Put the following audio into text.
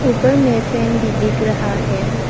ऊपर में फैन भी दिख रहा है।